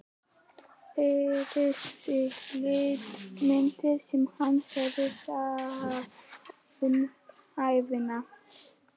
Fyrsta litmyndin sem hann hafði séð um ævina.